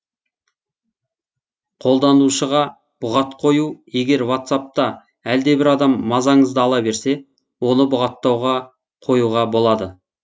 қолданушыға бұғат қою егер ватсапта әлдебір адам мазаңызды ала берсе оны бұғаттауға қоюға болады